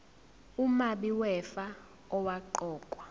umabi wefa owaqokwa